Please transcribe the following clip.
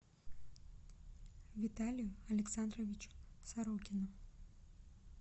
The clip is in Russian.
виталию александровичу сорокину